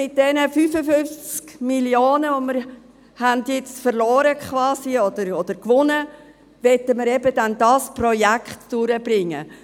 Mit diesen 55 Mio. Franken, die wir quasi verloren haben, oder gewonnen, möchten wir jetzt eben dieses Projekt durchbringen.